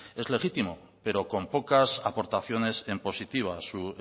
es legítimo pero con pocas aportaciones en positivo a su